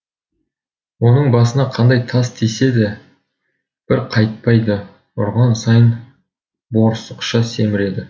оның басына қандай тас тисе де бір қайтпайды ұрған сайын борсықша семіреді